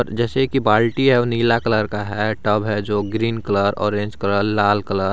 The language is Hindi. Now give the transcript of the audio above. जैसे की बाल्टी है वह नीला कलर का है टब है जो ग्रीन कलर ऑरेंज कलर लाल कलर --